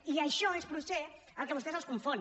i això és potser el que a vostès els confon